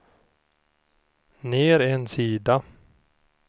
ner en sida